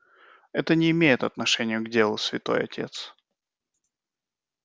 это не имеет отношения к делу святой отец